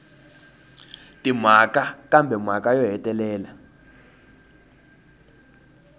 timhaka kambe mhaka yo hetelela